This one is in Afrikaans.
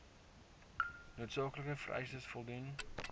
noodsaaklike vereistes voldoen